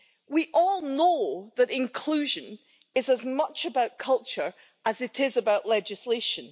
We all know that inclusion is as much about culture as it is about legislation.